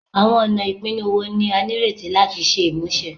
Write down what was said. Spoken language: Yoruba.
Awọn ọna ipinnu wo ni a nireti lati ṣe imuse?